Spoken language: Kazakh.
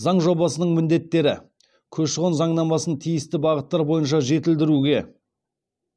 заң жобасының міндеттері көші қон заңнамасын тиісті бағыттар бойынша жетілдіруге